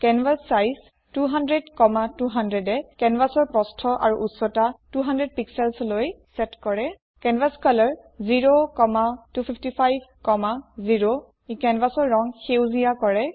canvas size 200200এ কেনভাছৰ প্ৰস্থ আৰু উচ্চতা 200 pixelsলৈ চেট কৰে কেনভাস্কলৰ 02550 ই কেনভাছৰ ৰং সেউজীয়া কৰে